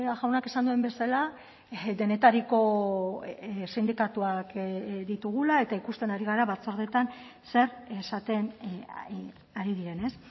jaunak esan duen bezala denetariko sindikatuak ditugula eta ikusten ari gara batzordeetan zer esaten ari diren ez